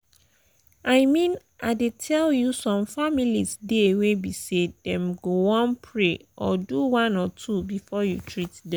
i mean i dey tell you some families dey wey be say them go one pray or do one or two before you treat them.